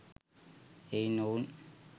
එයින් ඔවුන්